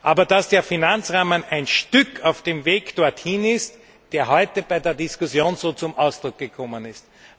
Aber dass der Finanzrahmen ein Stück auf dem Weg dorthin ist, der heute bei der Diskussion so zum Ausdruck gekommen ist.